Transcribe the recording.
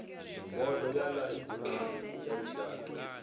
bodo ya ḽaiburari ya lushaka